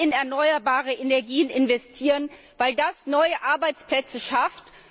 Wir müssen in erneuerbare Energien investieren, weil das neue Arbeitsplätze schafft.